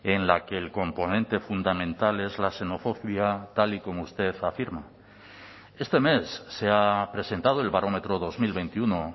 en la que el componente fundamental es la xenofobia tal y como usted afirma este mes se ha presentado el barómetro dos mil veintiuno